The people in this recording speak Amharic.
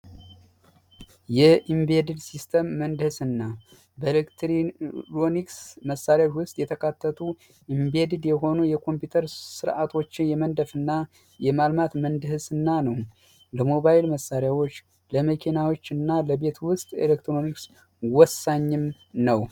የኢምቤድድ ሲስተም ምህንድስና ኤሌክትሮኒክስ ዕቃዎች ውስጥ የተካተቱ እና ኢምቤድድ የሆኑ የኮምፒውተር ስርዓቶችን የመንደፍና የማልማት ምህንድስና ነው ለሞባይል መሳሪያዎች ለመኪናዎችና ለቤት ውስጥ የኤሌክትሮኒክስ እቃዎች ወሳኝም ነው።